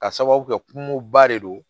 Ka sababu kɛ kungoba de don